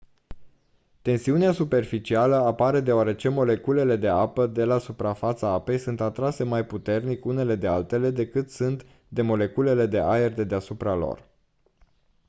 tensiunea superficială apare deoarece moleculele de apă de la suprafața apei sunt atrase mai puternic unele de altele decât sunt de moleculele de aer de deasupra lor